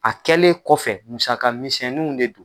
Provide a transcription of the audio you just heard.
A kɛlen kɔfɛ musaka misɛninw de do.